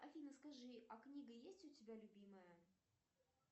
афина скажи а книга есть у тебя любимая